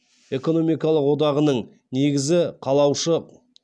экономикалық одағының негізі қалаушы